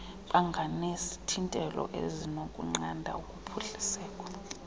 banganezithintelo ezinokunqanda ukuphuhliseka